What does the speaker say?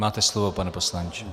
Máte slovo, pane poslanče.